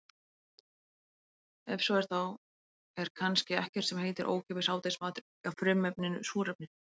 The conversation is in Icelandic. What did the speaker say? Ef svo er þá er kannski ekkert sem heitir ókeypis hádegismatur á frumefninu súrefni.